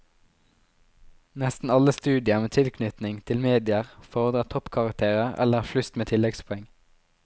Nesten alle studier med tilknytning til medier fordrer toppkarakterer eller flust med tilleggspoeng.